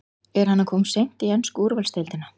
Er hann að koma of seint í ensku úrvalsdeildina?